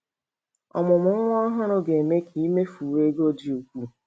Ọmụmụ nwa ọhụrụ ga - eme ka i mefuwe ego dị ukwuu.